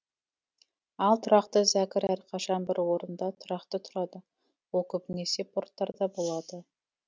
ал тұрақты зәкір әрқашан бір орында тұрақты тұрады ол көбінесе порттарда болады